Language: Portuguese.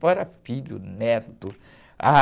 Fora filho, neto. Ah